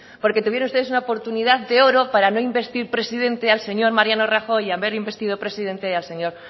porque tuvieron ustedes una oportunidad de oro para no investir presidente al señor mariano rajoy y haber investido presidente al señor